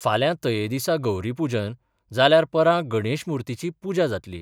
फाल्यां तये दिसा गौरीपूजन जाल्यार परां गणेशत मुर्तीची पूजा जातली.